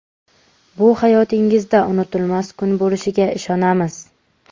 Bu hayotingizda unutilmas kun bo‘lishiga ishonamiz.